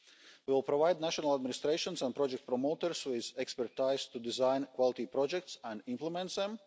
projects. We will provide national administrations and project promoters with expertise to design quality projects and implement